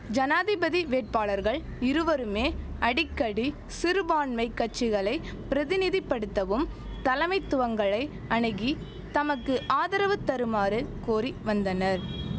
ஜனாதிபதி வேட்பாளர்கள் இருவருமே அடிக்கடி சிறுபான்மை கட்சிகளை பிரதிநிதி படுத்தவும் தலமைத்துவங்களை அணுகி தமக்கு ஆதரவு தருமாறு கோரி வந்தனர்